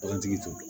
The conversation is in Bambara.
Bagantigi t'o dɔn